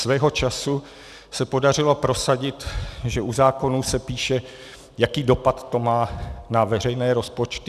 Svého času se podařilo prosadit, že u zákonů se píše, jaký dopad to má na veřejné rozpočty.